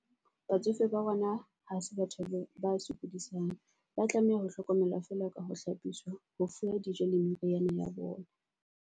Batsofe ba rona ha se batho ba sokodisang, ba tlameha ho hlokomelwa feela ka ho hlapiswa ho fuwa dijo le meriana ya bona.